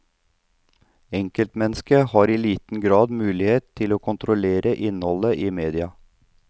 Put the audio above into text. Enkeltmennesket har i liten grad mulighet til å kontrollere innholdet i media.